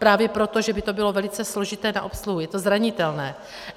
Právě proto, že by to bylo velice složité na obsluhu, je to zranitelné.